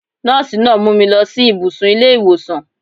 Nọ́ọ̀sí náà mú mi lọ sí ìbùsùn ilé ìwòsàn.